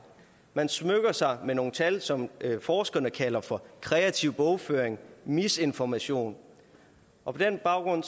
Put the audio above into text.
man smykker sig med nogle tal som forskerne kalder for kreativ bogføring misinformation og på den baggrund